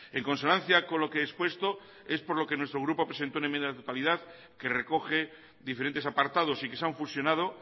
en consonancia con lo que he expuesto es por lo que nuestro grupo presentó una enmienda a la totalidad que recoge diferentes apartados y que se han fusionado